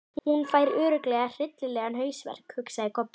Hún fær örugglega hryllilegan hausverk, hugsaði Kobbi.